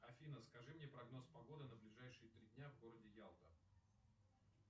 афина скажи мне прогноз погоды на ближайшие три дня в городе ялта